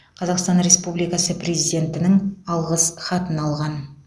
қазақстан республикасы президентінің алғыс хатын алған